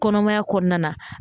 Kɔnɔmaya kɔnɔna na